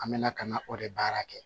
An bɛna ka na o de baara kɛ